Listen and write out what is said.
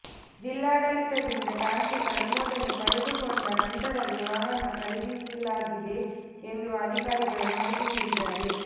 ಜಿಲ್ಲಾಡಳಿತದಿಂದ ತಾಂತ್ರಿಕ ಅನುಮೋದನೆ ಪಡೆ ದುಕೊಂಡ ನಂತರವೇ ವಾಹನ್ನ ಖರೀದಿಸಲಾಗಿದೆ ಎಂದು ಅಧಿಕಾರಿಗಳು ಮಾಹಿತಿ ನೀಡಿದ್ದಾರೆ